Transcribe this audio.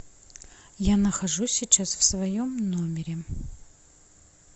я нахожусь сейчас в своем номере